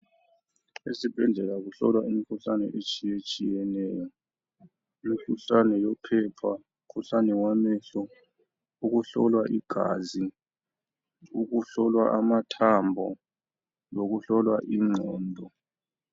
Ezibhedlela kuhlolwa imikhuhlane etshiyetshiyeneyo. Imikhuhlane yophepha, umukhuhlane wamehlo, ukuhlolwa igazi, ukuhlolwa amathambo lokuhlolwa ingqondo.